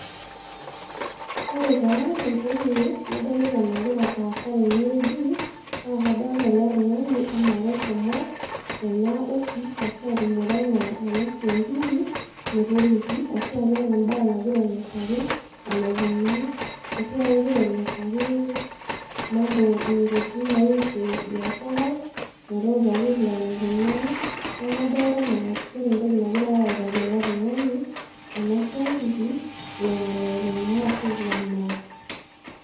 Ore taa entoki nadolita nagira aasa tene wueji naa kadolita ele tungani anaa keshomoena office ashuaa atumore ena siankiki metoliki ashua keeta embae nagira ainosaki enaikunaa ,ashuaa kegira ainosaki, mambo ,intokitin naihusu biashara ,metuutaki vile naikunaa niaku kaolita naa keeta entoki nagirae autaki ele tungani ena siankiki vile nalo aikunaaa ashu vile naas.